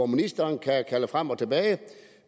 ministeren kan kalde ting frem og tilbage